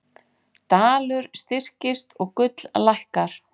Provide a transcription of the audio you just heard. Dalur styrkist og gull lækkar